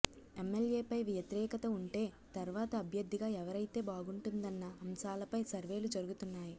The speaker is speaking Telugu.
ఎమ్మెల్యేపై వ్యతిరేకత ఉంటే తర్వాత అభ్యర్ధిగా ఎవరైతే బాగుంటుందన్న అంశాలపై సర్వేలు జరుగుతున్నాయి